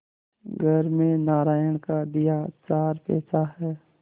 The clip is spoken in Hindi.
घर में नारायण का दिया चार पैसा है